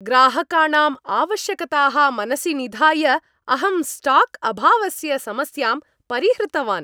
ग्राहकाणां आवश्यकताः मनसि निधाय, अहं स्टाक् अभावस्य समस्यां परिहृतवान्।